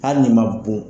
Hali n'i ma bon